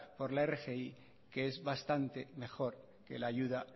por la rgi que es bastante mejor que la ayuda